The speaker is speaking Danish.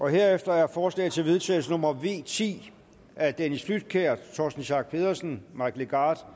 herefter er forslag til vedtagelse nummer v ti af dennis flydtkjær torsten schack pedersen og mike legarth